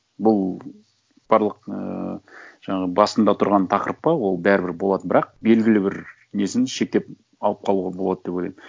бұл барлық і жаңағы басында тұрған тақырып па ол бәрібір болады бірақ белгілі бір несін шектеп алып қалуға болады деп ойлаймын